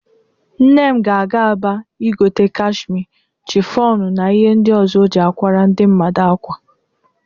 Nne m ga-aga Aba igote kashmie, chịfọnụ na ihe ndị ọzọ o ji akwara ndị mmadụ ákwà.